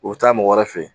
U bɛ taa mɔgɔ wɛrɛ fɛ yen